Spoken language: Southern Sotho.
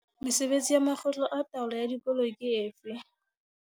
Mesebetsi ya makgotla a taolo ya dikolo ke efe?